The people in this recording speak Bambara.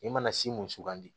I mana si mun sugandi